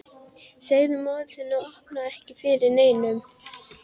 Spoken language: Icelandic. Segðu móður þinni að opna ekki fyrir neinum.